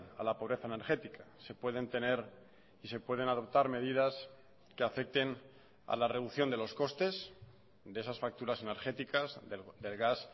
a la pobreza energética se pueden tener y se pueden adoptar medidas que afecten a la reducción de los costes de esas facturas energéticas del gas